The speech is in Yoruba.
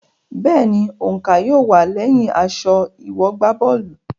Bẹ́ẹ̀ni, òǹkà yóò wà lẹyìn aṣọ ìwọ̀gbábọ́ọ̀lù.